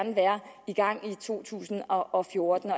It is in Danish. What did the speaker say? i gang i to tusind og fjorten